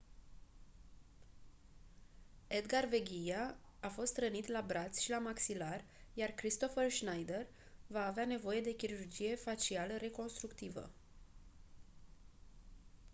edgar veguilla a fost rănit la braț și la maxilar iar kristoffer schneider va avea nevoie de chirurgie facială reconstructivă